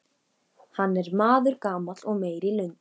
Hann er maður gamall og meyr í lund.